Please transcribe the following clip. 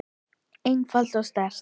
einfalt og sterkt.